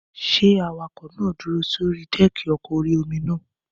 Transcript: Ṣé awakọ̀ náà dúró sórí dẹ́ẹ̀kì ọkọ̀ orí-omi náà?